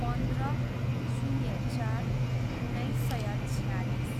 पन्ध्र, शून्य चार, उन्नाइस सय छयालिस